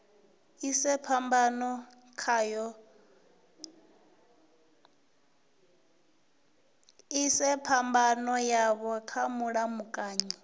ise phambano yavho kha mulamukanyi